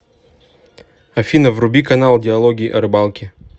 афина вруби канал диалоги о рыбалке